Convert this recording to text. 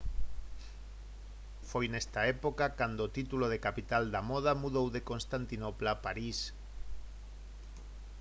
foi nesta época cando o título de capital da moda mudou de constantinopla a parís